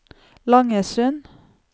Langesund